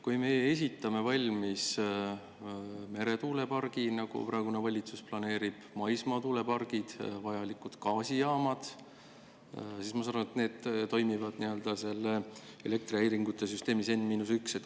Kui me ehitame valmis meretuulepargi, nagu praegune valitsus planeerib, maismaatuulepargid ja vajalikud gaasijaamad, siis, ma saan aru, need toimivad elektrihäiringute süsteemis N-1.